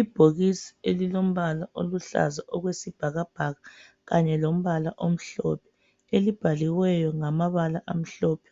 Ibhokisi elilombala oluhlaza okwesibhakabhaka kanye lombala omhlophe, elibhaliweyo ngamabala